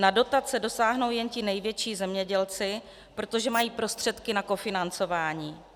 Na dotace dosáhnou jen ti největší zemědělci, protože mají prostředky na kofinancování.